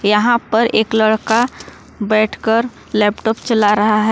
यहां पर एक लड़का बैठकर लैपटॉप चला रहा है।